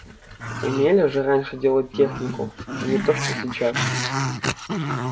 умели же раньше делать технику но не то что сейчас